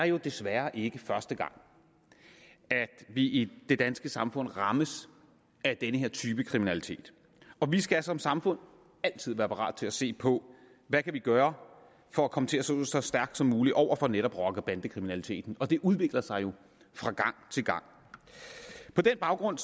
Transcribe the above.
jo desværre ikke er første gang at vi i det danske samfund rammes af denne type kriminalitet vi skal som samfund altid være parat til at se på hvad vi kan gøre for at komme til at stå så stærkt som muligt over for netop rocker og bandekriminaliteten det udvikler sig jo fra gang til gang på den baggrund